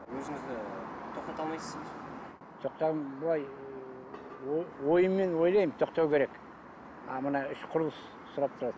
өзіңізді тоқтата алмайсыз ба былай ыыы ойыммен ойлаймын тоқтау керек а мына іш құрылыс сұрап тұрады